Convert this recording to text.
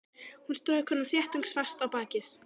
Hún strauk honum þéttingsfast á bakið.